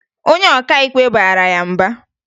Onye ọkaikpe bara ya mba